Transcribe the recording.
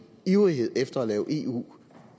ivrighed efter at lave eu